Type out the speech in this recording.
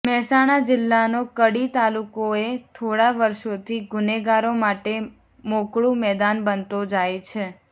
મહેસાણા જિલ્લાનો કડી તાલુકોએ થોડા વર્ષોથી ગુનેગારો માટે મોકળુ મેદાન બનતો જાય છે